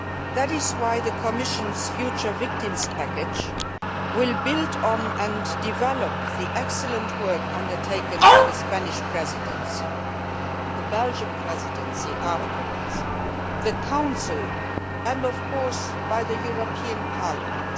That is why the Commission's future victims package will build on and develop the excellent work undertaken by the Spanish Presidency, the Belgian Presidency, the Council and, of course, the European Parliament.